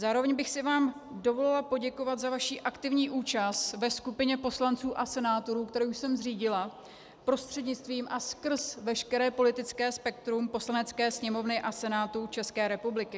Zároveň bych si vám dovolila poděkovat za vaši aktivní účast ve skupině poslanců a senátorů, kterou jsem zřídila prostřednictvím a skrz veškeré politické spektrum Poslanecké sněmovny a Senátu České republiky.